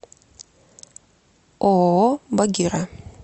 ооо багира